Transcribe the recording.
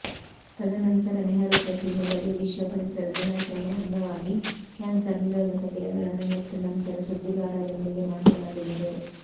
ತದನಂತರ ನೆಹರು ಪ್ರತಿಮೆ ಬಳಿ ವಿಶ್ವ ಪರಿಸರ ದಿನಾಚರಣೆ ಅಂಗವಾಗಿ ಕ್ಯಾನ್ಸರ್ ನಿರೋಧಕ ಗಿಡಗಳನ್ನು ನೆಟ್ಟು ನಂತರ ಸುದ್ದಿಗಾರರೊಂದಿಗೆ ಮಾತನಾಡಿದರು